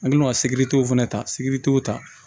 An kɛlen don ka sibiri t'o fana ta sibiri t'o ta